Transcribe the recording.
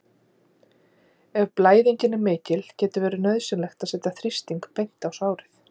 Ef blæðingin er mikil getur verið nauðsynlegt að setja þrýsting beint á sárið.